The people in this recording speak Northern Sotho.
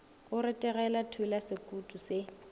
go retelega thula sekutu se